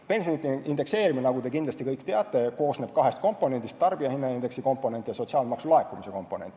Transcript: Pensionide indekseerimine, nagu te kõik kindlasti teate, koosneb kahest komponendist: tarbijahinnaindeks ja sotsiaalmaksu laekumine.